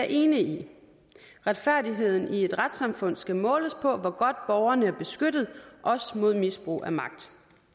enig i retfærdigheden i et retssamfund skal måles på hvor godt borgerne er beskyttet også mod misbrug af magt